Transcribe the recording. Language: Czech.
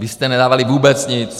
Vy jste nedávali vůbec nic!